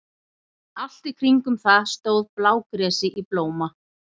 Allt í kringum það stóð blágresi í blóma.